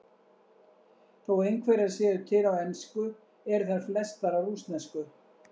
Þó einhverjar séu til á ensku eru þær flestar á rússnesku.